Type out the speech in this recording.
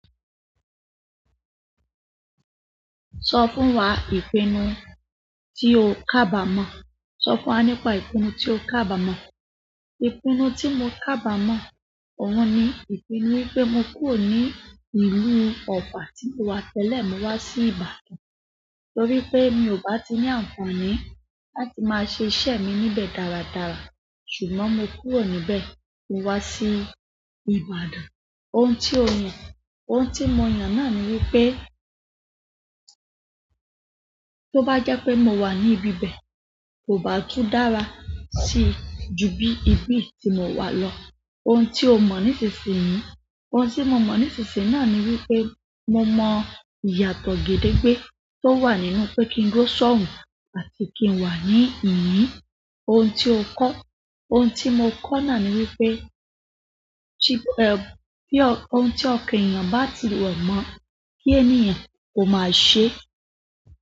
Sọ fún wa ìpinnu tí o kábà mọ̀. Sọ fún wa nípa ìpinnu tí o kábà mọ̀. Ìpinnu tí mo kábàmọ̀, òun ni ìpinnu wípé mo kúrò ní ìlú Ọ̀fà tí mo wá tẹ́lẹ̀ mo wá sí Ìbàdàn. Nítorí pé mi ò bá ti ní àǹfààní láti máa ṣe iṣẹ́ mi níbẹ̀ dáradára. Ṣùgbọ́n mo kúrò níbẹ̀ mo wá sí Ìbàdàn. Ohun tí o yàn. Ohun tí mo yàn náà ni wípé, tó bá jẹ́ pé mo wà ní ibi bẹ̀, kò bá tún dára sí ju bí ibi tí mo wà lọ. Ohun tí o mọ̀ nísinsìnyí. Ohun tí mo mọ̀ nísinsìnyí náà ni wípé, mo mọ ìyàtọ̀ gedengbe tó wà nínú pé kí n dúró sọ̀hùn àti kí n wà ní ìhín. Ohun tí o kọ. Ohun tí mo kọ náà ni wípé, tí--tí-- ọ-- ohun tí ọkan ènìyàn ba ti ro mọ́, kí ẹniyàn kó máa ṣe.